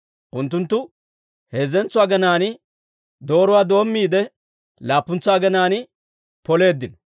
Unttunttu heezzentso aginaan dooretsaa doommiide, laappuntsa aginaan poleeddino.